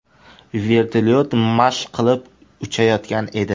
Vertolyot mashq qilib uchayotgan edi.